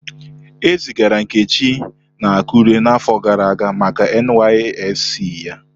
Ezigara Nkechi na Akure n'afọ gara aga maka NYSC ya.